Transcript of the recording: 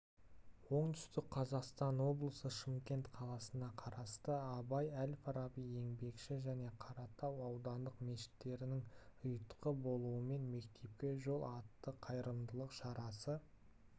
оңтүстік қазақстан облысы шымкент қаласына қарасты абай әл фараби еңбекші және қаратау аудандық мешіттерінің ұйытқы болуымен мектепке жол атты қайырымдылық шарасы